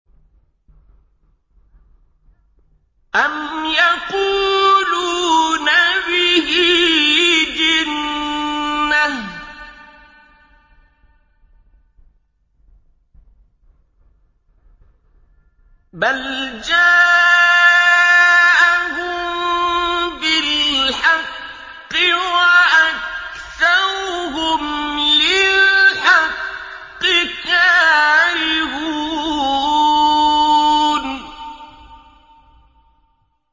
أَمْ يَقُولُونَ بِهِ جِنَّةٌ ۚ بَلْ جَاءَهُم بِالْحَقِّ وَأَكْثَرُهُمْ لِلْحَقِّ كَارِهُونَ